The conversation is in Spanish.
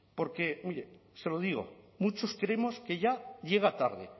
porque oye se lo digo muchos creemos que ya llega tarde